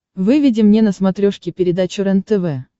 выведи мне на смотрешке передачу рентв